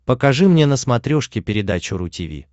покажи мне на смотрешке передачу ру ти ви